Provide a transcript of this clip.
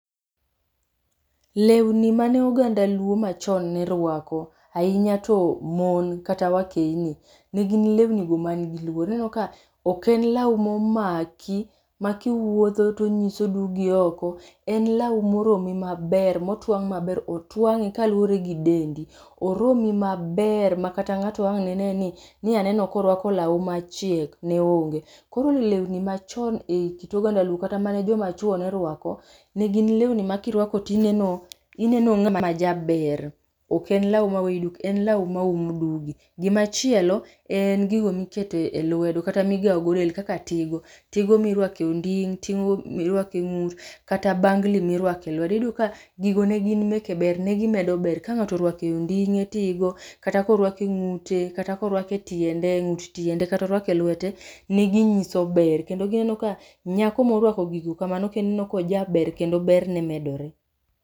Lewni mane oganda luo machon ne rwako, ahinya to mon kata wakeyni negin lwenigo man gi luor. Ineno ka ok en lawu momaki, makiwuotho tonyiso dugi oko. En lawo moromi maber motwang' maber, otwang'e kaluwore gi dendi. Oromi maber ma kata ng'ato ang' ne ne ni ni aneno korwako lawu machiek, ne onge. Koro lewni machon e kit oganda luo kata mane joma chuo ne rwako, ne gin lewni ma kiruako, tineno, ineno ng'ama jaber. Ok en lawo maweyi duk, en lawu ma umo dugi. Gimachielo, en gigo mikete e lwedo kata migao go del kaka tigo. Tigo mirwake onding' tigo mirwake ng'ut, kata bangli mirwake lwedo. Iyudo ka gigo ne gin meke ber, ne gimedo ber. Kang'ato orwake e onding'e tigo, kata korwake ng'ute, kata korwake tiende, ng'ut tiende, katorwake lwete, ne ginyiso ber. Kendo kineno ka nyako morwako gigo kamano kineno kojaber kendo berne medore.